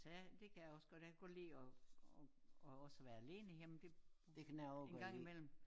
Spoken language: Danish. Sagde det kan jeg også godt jeg kan godt lide at at også være alene hjemme det en gang i mellem